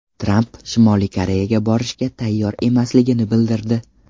Tramp Shimoliy Koreyaga borishga tayyor emasligini bildirdi.